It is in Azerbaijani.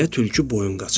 deyə tülkü boyun qaçırdı.